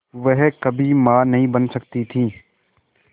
वह कभी मां नहीं बन सकती थी